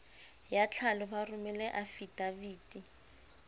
ya tlhalo ba romele afidaviti